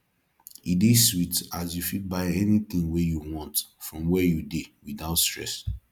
e dey sweet as you fit buy anything wey yu want from where yu dey without stress